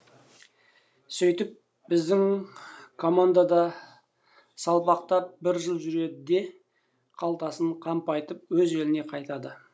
сөйтіп біздің командада салпақтап бір жыл жүреді де қалтасын қампайтып өз еліне қайтады